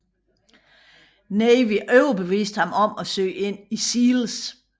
Navy overbeviste ham om at søge ind i SEALS